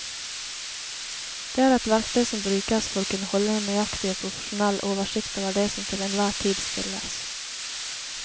Det er et verktøy som brukes for å kunne holde en nøyaktig og profesjonell oversikt over det som til enhver tid spilles.